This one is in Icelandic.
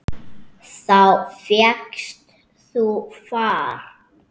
Þá fékkst þú far.